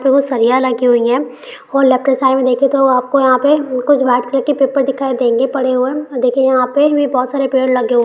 दूगो सरिया लगी हुई है और लेफ्ट साइड मे देखें तो आपको यहाँ पे कुछ व्हाइट कलर के पेपर दिखाई देंगे पड़े हुए। देखें यहाँ पे ये बहुत सारे पेड़ लगे हुए--